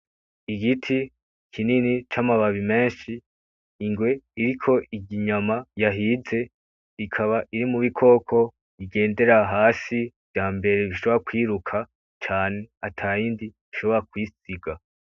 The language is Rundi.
Igiti kinini c'amababi menshi. Ingwe iriko irya inyama yahize, ikaba iri mu bikoko bigendera hasi vyambere bishobora kwiruka cane atayindi ishobora kuyisiga.